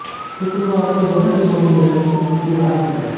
शुक्रवार को दोनों टीमों की भिड़ंत दूसरी बार होगी